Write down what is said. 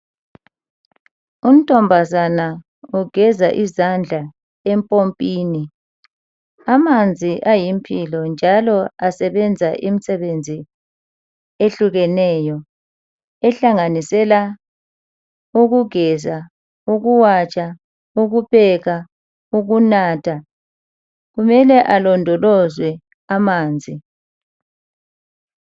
Untombazana ugeza izandla empompini. Amanzi ayimpilo njalo asebenza imisebenzi ehlukeneyo ehlanganisela ukugeza, ukuwatsha, ukupheka, ukunatha kumele alondolozwe amanzi.